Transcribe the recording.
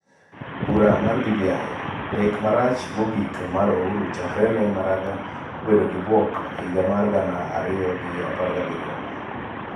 Bura mar BBI: Lek marach mogik mar Ouru chakre ne Maraga obedo gi bwok higa mar gana ariyo gi apar gabiriyo